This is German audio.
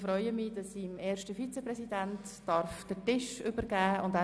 Ich freue mich, an den 1. Vizepräsidenten übergeben zu dürfen.